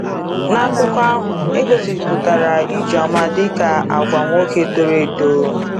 N’akụkọ ahụ, e gosipụtara Ijoma dịka agwa nwoke toro eto.